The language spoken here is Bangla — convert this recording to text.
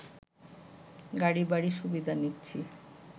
গাড়ি বাড়ি সুবিধা নিচ্ছি